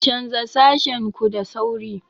Canza sashen ku da sauri!